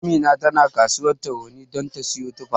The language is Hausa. Amina tana kasuwar Tarauni ta don ta siyo tufa.